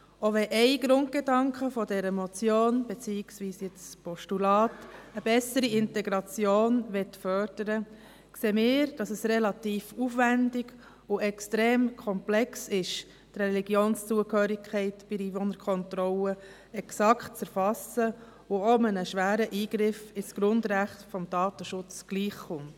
Auch wenn ein Grundgedanke dieser Motion, respektive nun des Postulats, eine bessere Integration fördern will, sehen wir, dass es relativ aufwendig und extrem komplex ist, die Religionszugehörigkeit bei der Einwohnerkontrolle exakt zu erfassen und dass es einem schweren Eingriff ins Grundrecht des Datenschutzes gleichkommt.